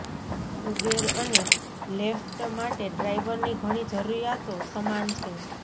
Uber અને Lyft માટે ડ્રાઈવરની ઘણી જરૂરિયાતો સમાન છે